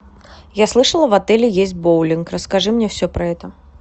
я слышала в отеле есть боулинг расскажи мне все про это